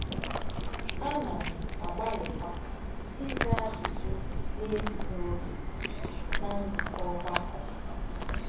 Ànà um m àgbálíkwà ízà àjùjụ̀ n’ègbùghí ògé n’á nzúkọ̀ ọ̀gbàkọ̀.